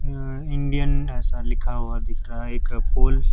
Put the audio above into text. यहां इंडियन ऐसा लिखा हुआ दिख रहा है एक पोल --